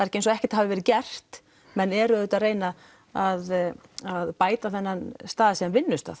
ekki eins og ekkert hafi verið gert menn eru auðvitað að reyna að að bæta þennan stað sem vinnustað